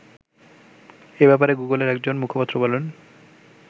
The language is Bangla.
এ ব্যাপারে গুগলের একজন মুখপাত্র বলেন